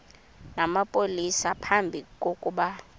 namapolisa phambi kokuba